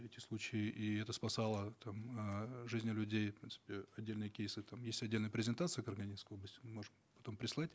эти случаи и это спасало там э жизни людей и в принципе отдельные кейсы там есть отдельная презентация карагандинской области мы можем потом прислать